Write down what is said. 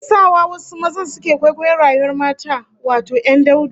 Me yake sa wasu mazan suke kwaikwayon rayuwar mata, wato 'yan daudu?